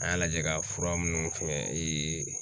An y'a lajɛ ka fura minnu fɛngɛ